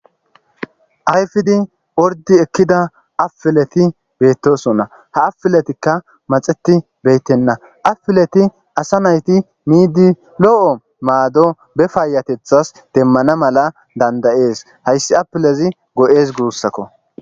Ayfidi ordi ekkida apileti beettosonna ha afiletikka maxeti beyttenna afileti asa nayti miidi lo7o maado be paayatethas demmana mala dandayees hayssi apilezi go7ees guussakko.